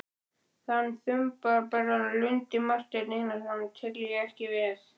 Þann þumbaralega lunda, Martein Einarsson, tel ég ekki með!